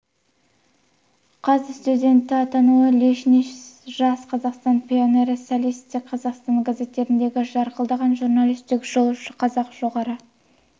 қаз студенті атануы лениншіл жас қазақстан пионері социалистік қазақстан газеттеріндегі жарқылдаған журналистік жол қазақ жоғарғы